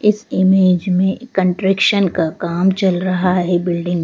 इस इमेज में कंट्रेक्शन का काम चल रहा है।